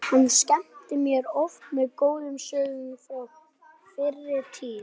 Taugaslekjan er að mestu leyti horfin.